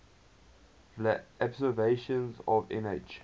vla observations of nh